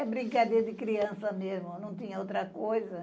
Era brincadeira de criança mesmo, não tinha outra coisa.